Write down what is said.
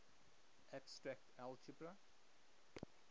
abstract algebra